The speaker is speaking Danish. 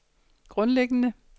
grundlæggende